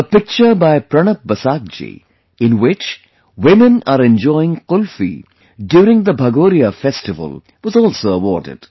A picture by PranabBasaakji, in which women are enjoying Qulfi during the Bhagoriya festival, was also awarded